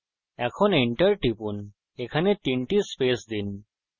এখন enter টিপুন এখানে তিনটি স্পেস দিন